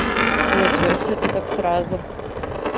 ничего себе ты так сразу